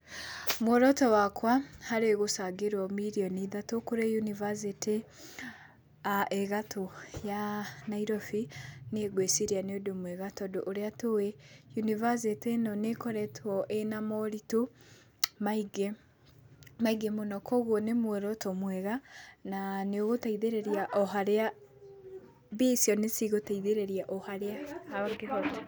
Mũoroto wakwa harĩ gũcangĩrwo mirioni ithatũ kũrĩ yunibacĩtĩ ĩ gatũ ya Nairobi, nĩngwĩciria nĩ ũndũ mwega tondũ ũrĩa tũĩ, university ĩno nĩ ĩkoretwo ĩna moritũ maingĩ, maingĩ mũno, koguo nĩmũoroto mwega na nĩũgũtaithĩrĩria oharĩa mbia icio nĩcigũtaithĩrĩria oharĩa hangĩhoteka.